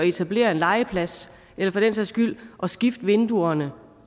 etablere en legeplads eller for den sags skyld at skifte vinduerne